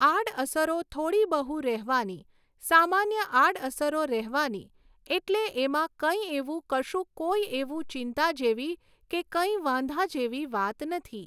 આડઅસરો થોડી બહુ રહેવાની સામાન્ય આડઅસરો રહેવાની એટલે એમાં કંઈ એવું કશું કોઈ એવું ચિંતા જેવી કે કંઈ વાંધા જેવી વાત નથી